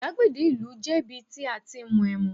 igbagede ìlú je ibi tí a ti n mu em